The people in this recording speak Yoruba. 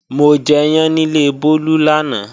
Mo jẹyán níle Bólú lánàá